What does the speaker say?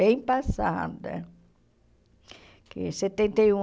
Bem passada. Que setenta e um